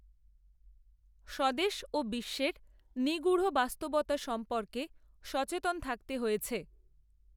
স্বদেশ, ও বিশ্বের, নিগুঢ় বাস্তবতা সম্পর্কে সচেতন থাকতে হয়েছে